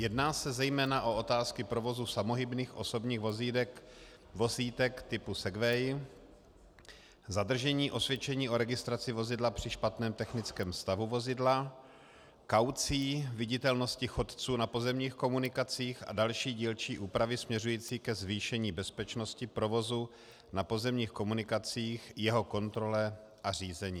Jedná se zejména o otázky provozu samohybných osobních vozítek typu segway, zadržení osvědčení o registraci vozidla při špatném technickém stavu vozidla, kaucí, viditelnosti chodců na pozemních komunikacích a další dílčí úpravy směřující ke zvýšení bezpečnosti provozu na pozemních komunikacích, jeho kontrole a řízení.